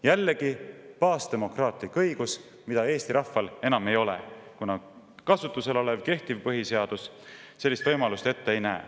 Jällegi baasdemokraatlik õigus, mida Eesti rahval enam ei ole, kuna kehtiv põhiseadus sellist võimalust ette ei näe.